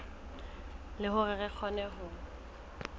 le hore re kgone ho